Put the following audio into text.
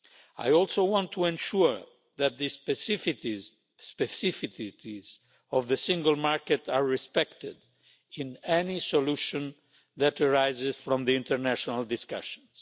I also want to ensure that the specificities of the Single Market are respected in any solution that arises from the international discussions.